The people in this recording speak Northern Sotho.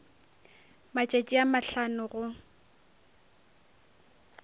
matšatši a mahlano a go